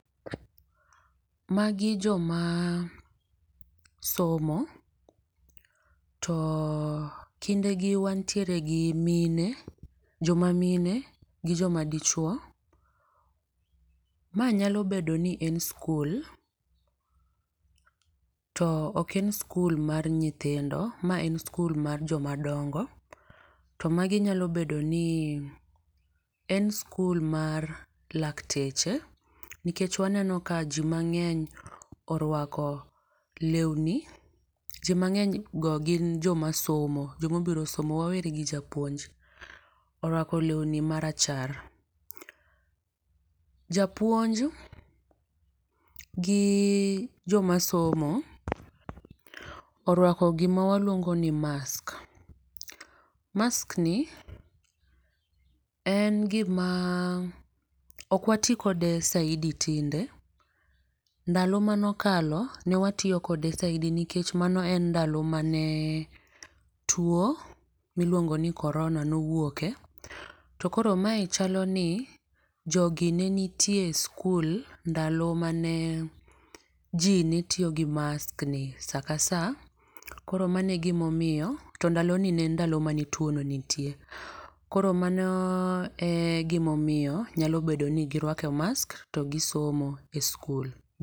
Ma gi joma somo to kinde gi wantiere gi mine joma mine gi jo ma dichuo. Ma nyalo bedo ni en skul to ok en skul mar nyithindo ma en skul mar jo ma dongo. To magi nyalo bedo ni en skul mar lakteche nikech ma waneno ka ni mang'eny orwako lewni ji mang'eny go gin jo ma somo jo ma obiro somo weri gi japuonj. Orwako lewni ma rachar. Japuonj gi jo ma somo orwako gi ma iluongo ni mask, mask ni en gi ma ok wa ti kode saidi tinde, ndalo mane okalo ne watiyo kode saidi nikech mano ndalo mane tuo mi iluongo ni korona ne owuoke to koro ma e chalo ni jogi ne nitie e skul ndalo mane ji ne tiyo gi mask ni saa ka saa koro mano e gi ma omiyo to ndalo gi nie n ndalo mane tuo no nitie koro mano e gi ma omiyo nyalo bedo ni gi rwako mask to gi somo e skul.